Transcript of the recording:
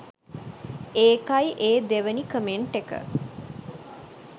ඒකයි ඒ දෙවෙනි කමෙන්ට් එක